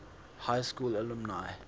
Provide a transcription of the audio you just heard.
high school alumni